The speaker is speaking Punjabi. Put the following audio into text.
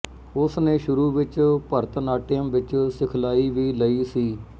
ਉਸਨੇ ਸ਼ੁਰੂ ਵਿੱਚ ਭਰਤਨਾਟਿਅਮ ਵਿੱਚ ਸਿਖਲਾਈ ਵੀ ਲਈ ਸੀ